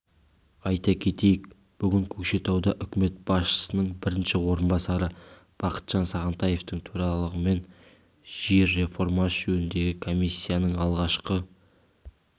айта кетейік бүгін көкшетауда үкімет басшысының бірінші орынбасары бақытжан сағынтаевтың төрағалығымен жер реформасы жөніндегі комиссияның алғашқы